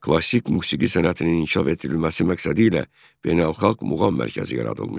Klassik musiqi sənətinin inkişaf etdirilməsi məqsədilə beynəlxalq muğam mərkəzi yaradılmışdır.